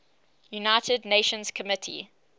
united nations committee